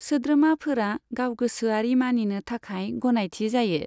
सोद्रोमाफोरा गावगोसोआरि मानिनो थाखाय गनायथि जायो।